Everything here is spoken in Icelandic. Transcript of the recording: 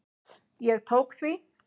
Ég tók því.